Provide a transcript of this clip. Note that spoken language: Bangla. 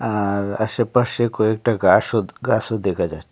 আর আশেপাশে কয়েকটা গাসও গাসও দেখা যায়।